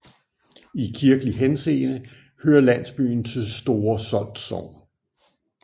I kirkelig henseende hører landsbyen til Store Solt Sogn